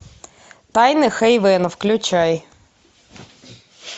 тайны хэйвена включай